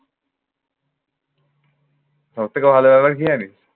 সব থেকে ভালো হলো কি জানিস?